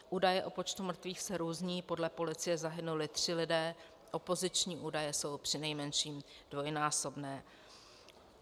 Údaje o počtu mrtvých se různí, podle policie zahynuli tři lidé, opoziční údaje jsou přinejmenším dvojnásobné.